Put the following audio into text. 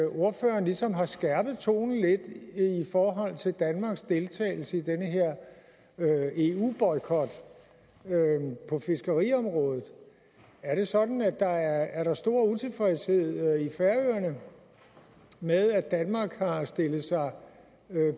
ordføreren ligesom har skærpet tonen lidt i forhold til danmarks deltagelse i den her eu boykot på fiskeriområdet er det sådan at der er stor utilfredshed i færøerne med at danmark har stillet sig